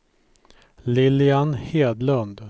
Lilian Hedlund